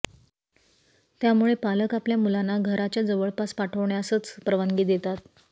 त्यामुळे पालक आपल्या मुलांना घराच्या जवळपास पाठ्वण्यासच परवानगी देतात